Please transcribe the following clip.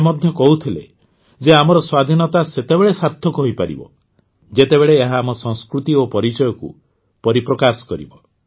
ସେ ମଧ୍ୟ କହୁଥିଲେ ଯେ ଆମର ସ୍ୱାଧୀନତା ସେତେବେଳେ ସାର୍ଥକ ହୋଇପାରିବ ଯେତେବେଳେ ଏହା ଆମ ସଂସ୍କୃତି ଓ ପରିଚୟକୁ ପରିପ୍ରକାଶ କରିବ